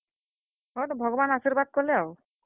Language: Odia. ହଁ, ତ ଭଗବାନ୍ ଆଶିର୍ବାଦ୍ କଲେ ଆଉ।